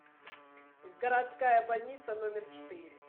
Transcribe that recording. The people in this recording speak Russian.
городская больница номер четыре